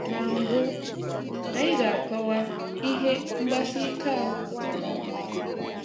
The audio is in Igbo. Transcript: Na mbu, anyị ga-akọwa ihe "Mgbasị ike ahụ " pụtara.